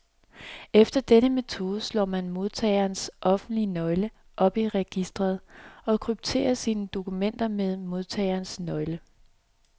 Efter denne metode slår man modtagerens offentlige nøgle op i registret, og krypterer sine dokumenter med modtagerens nøgle.